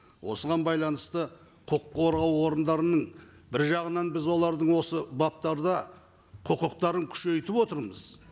осыған байланысты құқық қорғау орындарының бір жағынан біз олардың осы баптарда құқықтарын күшейтіп отырмыз